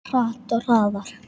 Hratt, hraðar.